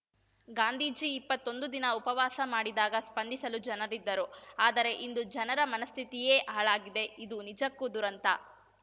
ಗಾಂಧೀಜಿ ಇಪ್ಪತ್ತೊಂದು ದಿನ ಉಪವಾಸ ಮಾಡಿದಾಗ ಸ್ಪಂದಿಸಲು ಜನರಿದ್ದರು ಆದರೆ ಇಂದು ಜನರ ಮನಸ್ಥಿತಿಯೇ ಹಾಳಾಗಿದೆ ಇದು ನಿಜಕ್ಕೂ ದುರಂತ